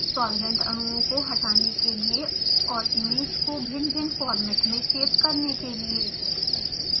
solvent अणुओं को हटाने के लिए और इमेज को भिन्नभिन्न फॉर्मेट में सेव करने के लिए